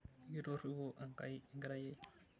Mikitoripo Enkai enkerai ai.